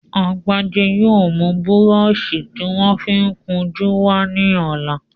Agbájé yóò mú búrọṣí tí wọ́n fi ń kun jú wá ní ọ̀la